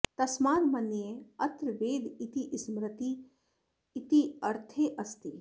तस्माद् मन्ये अत्र वेद इति स्मरति इति अर्थे अस्ति